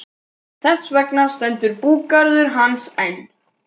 Þess vegna stendur búgarður hans enn.